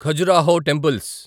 Khajuraho temples